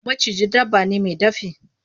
Maciji dabba ne mai dafi.